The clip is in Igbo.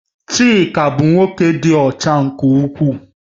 Chika bụ nwoke dị ọcha nke ukwuu